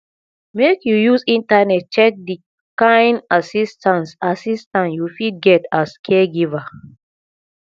make you use internet check di kain assistance assistance you fit get as caregiver